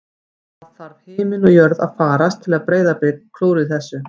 Það þarf himinn og jörð að farast til að Breiðablik klúðri þessu